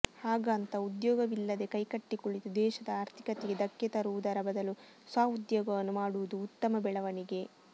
ಹಾಗಾಂತ ಉದ್ಯೋಗವಿಲ್ಲದೇ ಕೈಕಟ್ಟಿ ಕುಳಿತು ದೇಶದ ಆರ್ಥಿಕತೆಗೆ ಧಕ್ಕೆ ತರುವುದರ ಬದಲು ಸ್ವ ಉದ್ಯೋಗವನ್ನು ಮಾಡುವುದು ಉತ್ತಮ ಬೆಳವಣಿಗೆ